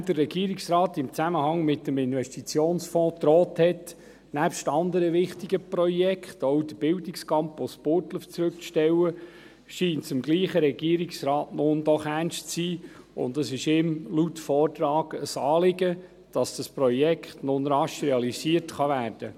Nachdem der Regierungsrat im Zusammenhang mit dem Investitionsfonds gedroht hat, nebst anderen wichtigen Projekten auch den Bildungscampus Burgdorf zurückzustellen, scheint es demselben Regierungsrat nun doch ernst zu sein, und es ist ihm laut Vortrag ein Anliegen, dass dieses Projekt nun rasch realisiert werden kann.